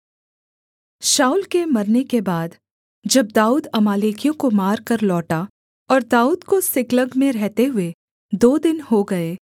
शाऊल के मरने के बाद जब दाऊद अमालेकियों को मारकर लौटा और दाऊद को सिकलग में रहते हुए दो दिन हो गए